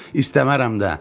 İstəmərəm də.